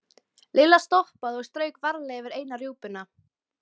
Lilla stoppaði og strauk varlega yfir eina rjúpuna.